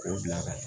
K'o bila ka na